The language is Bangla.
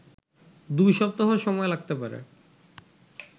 ২ সপ্তাহ সময় লাগতে পারে